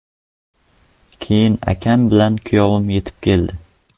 Keyin akam bilan kuyovim yetib keldi.